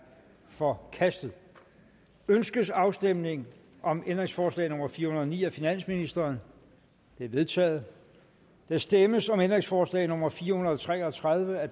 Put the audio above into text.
forkastet ønskes afstemning om ændringsforslag nummer fire hundrede og ni af finansministeren det er vedtaget der stemmes om ændringsforslag nummer fire hundrede og tre og tredive af